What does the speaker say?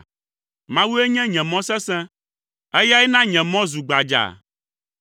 Mawue nye nye mɔ sesẽ, Eyae na nye mɔ zu gbadzaa.